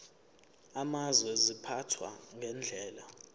amazwe ziphathwa ngendlela